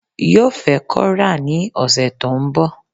Yo fẹ́ kora ní ọ̀sẹ̀ to ń bọ̀